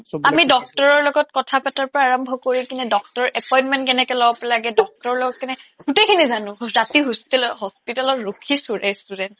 আমি doctor ৰ লগত কথা পতাৰ পৰা আৰম্ভ কৰি কিনে doctor ৰ appointment কেনেকে ল'ব লাগে doctor ৰ লগত কেনকে গোটেইখিনি জানো ৰাতি hostel hospital ত ৰখিছো restaurant